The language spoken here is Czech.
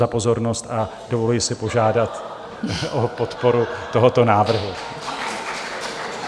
za pozornost a dovoluji si požádat o podporu tohoto návrhu.